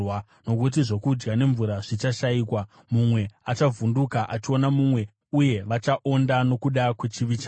nokuti zvokudya nemvura zvichashayikwa. Mumwe achavhunduka achiona mumwe uye vachaonda nokuda kwechivi chavo.